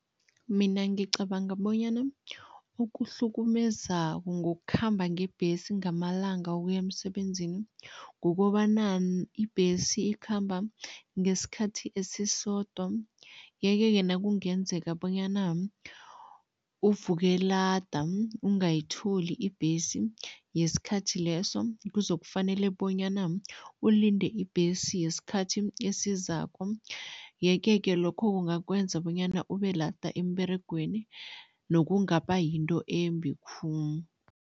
Mina ngicabanga bonyana okuhlukumezako ngokukhamba ngebhesi ngamalanga ukuya emsebenzini, kukobana ibhesi ikhamba ngesikhathi esisodwa yeke-ke nakungenzeka bonyana uvuke lada ungayitholi ibhesi yesikhathi leso, kuzokufanele bonyana ulinde ibhesi yesikhathi esizako yeke-ke lokho kungakwenza bonyana ube lada emberegweni nokungaba yinto embi khulu.